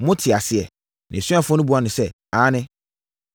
“Mote aseɛ?” Nʼasuafoɔ no buaa no sɛ, “Aane.”